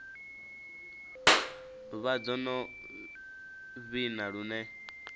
vha dzo no vhina lune